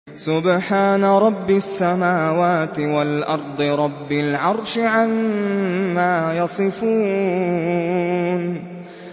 سُبْحَانَ رَبِّ السَّمَاوَاتِ وَالْأَرْضِ رَبِّ الْعَرْشِ عَمَّا يَصِفُونَ